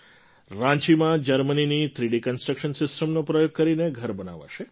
રાંચીમાં જર્મનીની three D construction સિસ્ટમનો પ્રયોગ કરીને ઘર બનાવાશે